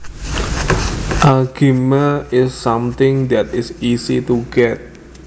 A gimme is something that is easy to get